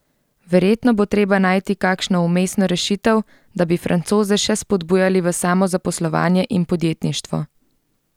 Verjetno bo treba najti kakšno vmesno rešitev, da bi Francoze še spodbujali v samozaposlovanje in podjetništvo.